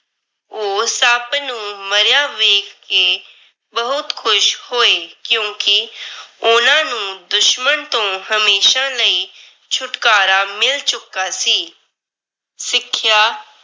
ਉਹ ਸੱਪ ਨੂੰ ਮਰਿਆ ਵੇਖ ਕੇ ਬਹੁਤ ਖੁਸ਼ ਹੋਏ ਕਿਉਂਕਿ ਉਹਨਾਂ ਨੂੰ ਦੁਸ਼ਮਨ ਤੋਂ ਹਮੇਸ਼ਾ ਲਈ। ਛੁਟਕਾਰਾ ਮਿਲ ਚੁੱਕਾ ਸੀ। ਸਿੱਖਿਆ